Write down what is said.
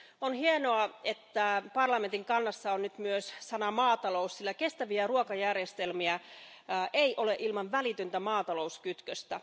On hienoa, että parlamentin kannassa on nyt myös sana maatalous, sillä kestäviä ruokajärjestelmiä ei ole ilman välitöntä maatalouskytköstä.